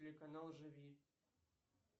телеканал живи